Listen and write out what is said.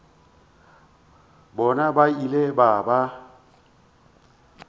bona ba ile ba ba